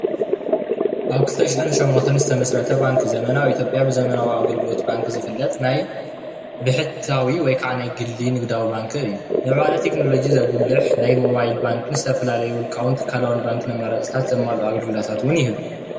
ኣብ 2008 ዝተመስረተ ባንኪ ዘመናዊ ኢትዮጵያ ብዘመናዊ ኣገልግሎት ባንኪ ዝፍለጥ ናይ ብሕታዊ ወይከዓ ናይ ግሊ ንግዳዊ ባንኪ እዩ፡፡ ምዕባለ ቴክኖሎጂ ዘጉልሕ ናይ ሞባይል ባንክን ዝተፈላለዩ ውልቃዊ ትካላውን ባንኪ ኣመራፅታትን ዘማልኡ ኣገልግሎት ውን ይህብ፡፡